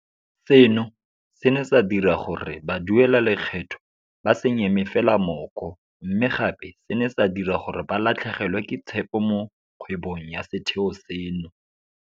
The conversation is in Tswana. Seno se ne sa dira gore baduelalekgetho ba se nyeme fela mooko, mme gape se ne sa dira gore ba latlhegelwe ke tshepo mo kgwebong ya setheo seno.